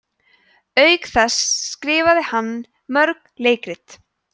auk þess skrifaði hann mörg leikrit